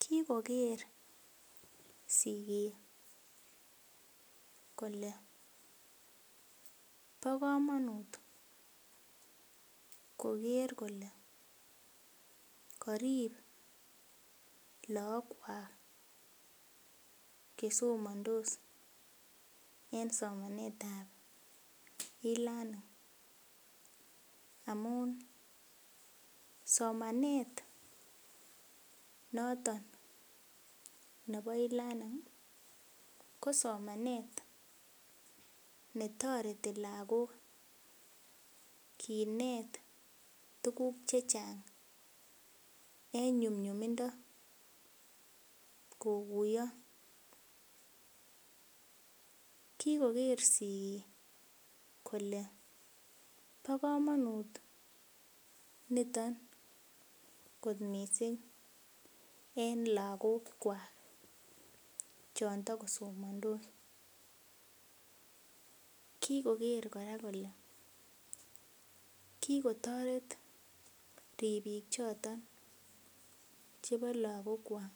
Kikoker sigik kole bo komonut koker kole korib look kwak chesomondos en somanet ab eLearning amun somanet noton nebo eLearning ko somanet netoreti lagok kinet tuguk chechang en nyumnyumindo kokuiyo kikoker sigik kole bo komonut niton kot missing en lagok kwak chon tokosomondos kikoker kora kole kikotoret ribiik choton chebo lagok kwak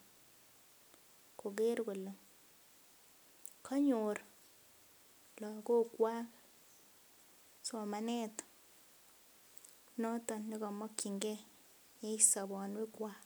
koker kole konyor lagok kwak somanet noton nekimokyingee en sobonwek kwak